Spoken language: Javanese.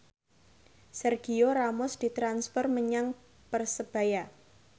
Sergio Ramos ditransfer menyang Persebaya